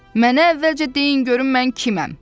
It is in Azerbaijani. Mənə əvvəlcə deyin görüm mən kiməm?